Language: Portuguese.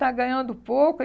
Está ganhando pouco.